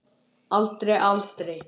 Aldrei, aldrei.